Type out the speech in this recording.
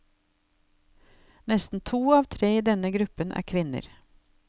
Nesten to av tre i denne gruppen er kvinner.